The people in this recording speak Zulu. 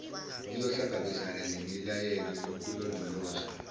iyohlangabezana nemiyalelo yokulondolozwa